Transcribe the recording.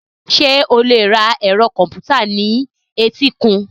Ṣé o lè ra ẹ̀rọ kọ̀m̀pútà ní etíkun?